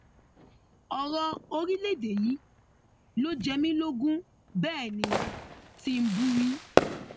ọrọ orílẹèdè yìí ló jẹ mí lógún bẹẹ ní tìǹbù wí